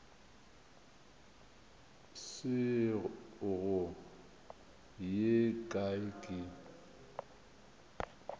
se go ye kae ke